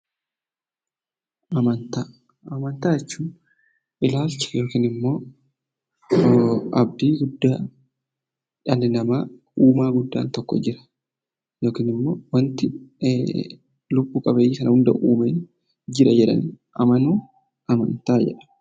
Amantaa jechuun ilaalcha yookiin abdiin guddaa dhalli namaa uumaa guddaan tokko Jira yookiin wanti lubbuu qabeeyyii kana hunda uume Jira jedhanii amanuun amantaa jedhama.